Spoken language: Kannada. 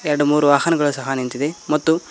ಎರಡು ಮೂರು ವಾಹನಗಳು ಸಹ ನಿಂತಿದೆ ಮತ್ತು--